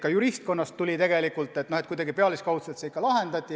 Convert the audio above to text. Ka juristkonnast tuli tegelikult kriitikat, et kuidagi pealiskaudselt see ikkagi lahendati.